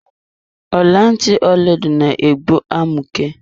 Ọla ntị Ọlaedo na egbu amụke.